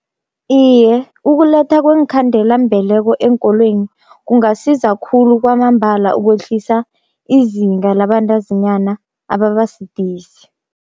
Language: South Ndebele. Iye ukuletha kweenkhandelambeleko eenkolweni kungasiza khulu kwamambala ukwehlisa izinga labantazinyana ababa sidisi.